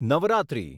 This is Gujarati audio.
નવરાત્રિ